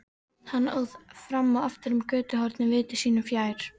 Hann óð fram og aftur um götuhornið viti sínu fjær.